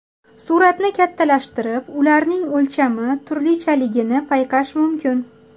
Suratni kattalashtirib, ularning o‘lchami turlichaligini payqash mumkin.